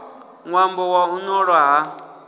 ṅwambo wa u ṱolwa ha